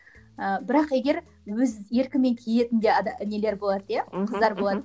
ыыы бірақ егер өз еркімен киетін де нелер болады иә қыздар болады